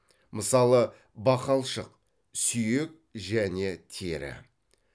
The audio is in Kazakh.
мысалы бақалшық сүйек және тері